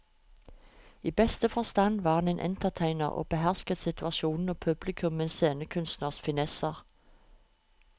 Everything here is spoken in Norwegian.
I beste forstand var han entertainer og behersket situasjonen og publikum med en scenekunstners finesser.